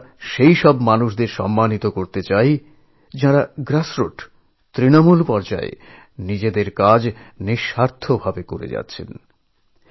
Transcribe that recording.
এভাবে আমরা তাঁদের সম্মানিত করতে চাই যাঁরা প্রত্যাশাহীনভাবে একেবারে গ্রাসরুট লেভেলে নিজের নিজের কাজ করে চলেছেন